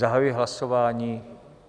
Zahajuji hlasování.